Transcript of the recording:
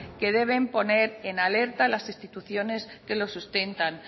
que deben poner en alerta las instituciones que los sustentan